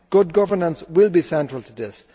Good governance will be central to this.